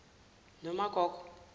nomagogo